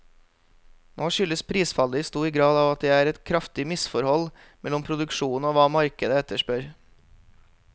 Nå skyldes prisfallet i stor grad at det er et kraftig misforhold mellom produksjonen og hva markedet etterspør.